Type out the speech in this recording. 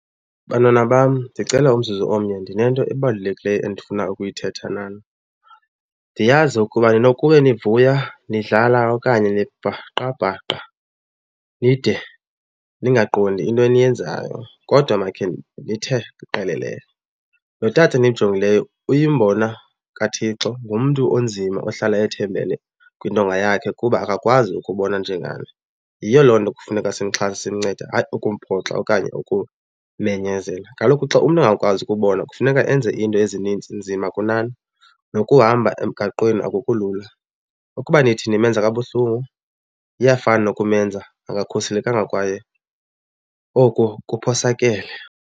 Bantwana bam, ndicela umzuzu omnye ndinento ebalulekileyo endifuna ukuyithetha nani. Ndiyazi ukuba ninokube nivuya, nidlala okanye nibhaqabhaqa nide ningaqondi into eniyenzayo kodwa makhe ndithe qelele. Lo tata nimjongileyo uyimbona kaThixo, ngumntu onzima ohlala ethembele kwintonga yakhe kuba akakwazi ukubona njengani. Yiyo loo nto kufuneka simxhase, simncede hayi ukumphoxa okanye ukumenyazela. Kaloku xa umntu engakwazi ukubona kufuneka enze iinto ezinintsi nzima kunani, nokuhamba emgaqweni akukho lula. Ukuba nithi nimenza kabuhlungu iyafana nokumenza angakhuselekanga kwaye oko kuphosakele.